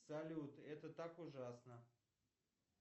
салют это так ужасно